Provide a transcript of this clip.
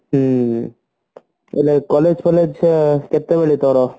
ହଁ ଏଲେ collage ଫଲେଜ ତ କେତେ ବେଳୁ ତାର